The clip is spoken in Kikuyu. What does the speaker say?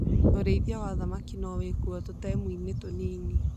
ũrĩithia wa thamaki no wĩkwo tũtemu-inĩ tũnini.